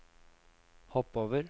hopp over